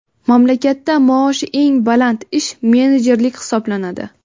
Mamlakatda maoshi eng baland ish menejerlik hisoblanadi.